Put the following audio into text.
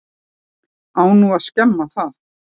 Á nú að skemma það?